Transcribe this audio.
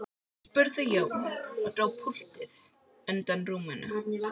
spurði Jón og dró púltið undan rúminu.